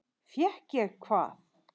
Fékk ég hvað?